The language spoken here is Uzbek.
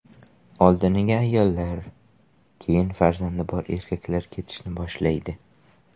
Oldiniga ayollar, keyin farzandi bor erkaklar ketishni boshlaydi.